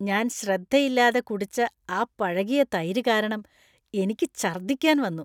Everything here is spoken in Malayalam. ഞാൻ ശ്രദ്ധയില്ലാതെ കുടിച്ച ആ പഴകിയ തൈര് കാരണം എനിക്ക് ഛർദ്ദിക്കാൻ വന്നു.